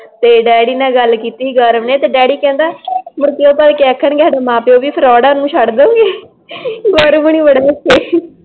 ਤੇ ਡੈਡੀ ਨਾਲ ਗੱਲ ਕੀਤੀ ਗੌਰਵ ਨੇ ਤੇ ਡੈਡੀ ਕਹਿੰਦਾ ਮੁੜਕੇ ਉਹ ਤਾਂ ਆਖਣਗੇ, ਤੁਆਡੇ ਮਾਂ ਪਿਓ ਵੀ ਫਰੋਡ ਆ ਫਿਰ ਤੁਸੀਂ ਉਨਾਂ ਨੂੰ ਵੀ ਛੱਡ ਦੋਗੇ ਗੌਰਵ ਉਨੀ ਬੜੇ ਹੱਸੇ